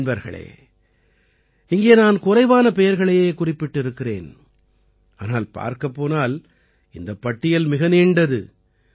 நண்பர்களே இங்கே நான் குறைவான பெயர்களையே குறிப்பிட்டிருக்கிறேன் ஆனால் பார்க்கப் போனால் இந்தப் பட்டியல் மிக நீண்டது